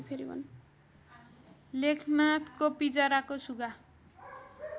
लेखनाथको पिँजराको सुगा